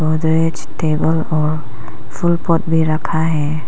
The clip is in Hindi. मेज टेबल और फूल पॉट भी रखा है।